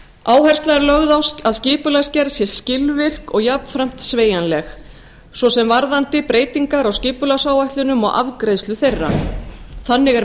áhersla er lögð á að skipulagsgerð sé skilvirk og jafnframt sveigjanleg svo sem varðandi breytingar á skipulagsáætlunum og afgreiðslu þeirra þannig er